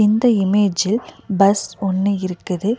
இந்த இமேஜில் பஸ் ஒன்னு இருக்குது.